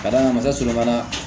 Ka d'a kan a b'a sɔrɔ fana